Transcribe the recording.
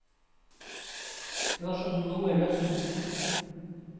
Det var som om noe løsnet.